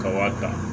Ka wa ta